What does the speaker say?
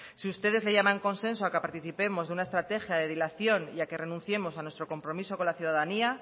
si ustedes le llaman consenso a que participemos de una estrategia de dilación y a que renunciemos a nuestro compromiso con la ciudadanía